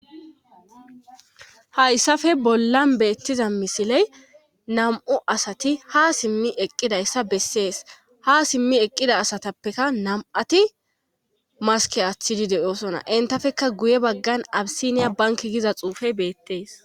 Hayssafe bollan beettiza misiley nam7u asati ha simmi eqqidayssa bessees ha simmi eqqida asatappeka nam7ati maske aththidi de7oosona intafekka guye baggan abisiniya banki giza xuufey beettees.